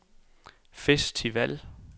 festival